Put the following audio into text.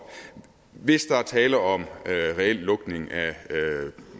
hvis der er tale om en reel lukning af